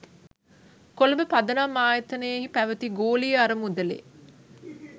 කොළඹ පදනම් ආයතනයෙහි පැවැති ගෝලීය අරමුදලෙ